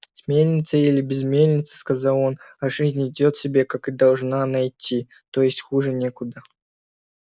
с мельницей или без мельницы сказал он а жизнь идёт себе как она и должна она идти то есть хуже некуда